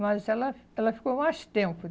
Mas ela ela ficou mais tempo.